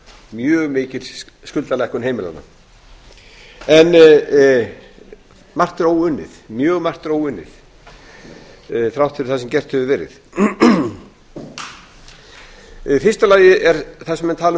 mjög mikil skuldalækkun heimilanna en mjög margt er óunnið þrátt fyrir það sem gert hefur verið í fyrsta lagi er þar sem menn tala